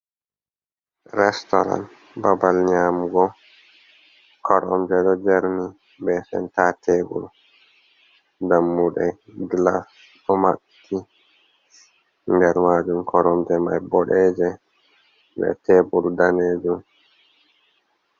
Restaurant babal nyamugo. Koromje ɗo jerni be center tebur, dammuɗe, glass, ɗo maɓɓiti. Nder majum koromje mai boɗeje be tebur danejum.